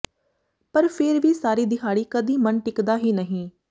ਪਰ ਫੇਰ ਵੀ ਸਾਰੀ ਦਿਹਾੜੀ ਕਦੀ ਮਨ ਟਿਕਦਾ ਹੀ ਨਹੀਂ